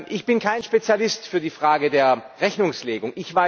Ich bin kein Spezialist für die Frage der Rechnungslegung.